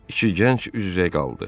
İki gənc üz-üzə qaldı.